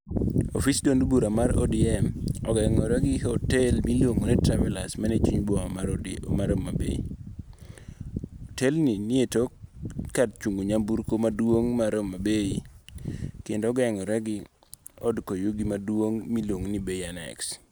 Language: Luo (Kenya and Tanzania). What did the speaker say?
Ofis duond bura ma ODM, ogengore go hotel miluongo' ni Travelers manie chuny boma mar Homa bay, otelni nie tok kar chung' nyamburko maduong' mar homabay kendo ogengo're gi od koyugi maduong' ma iluongo' ni BNS.